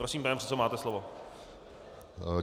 Prosím, pane předsedo, máte slovo.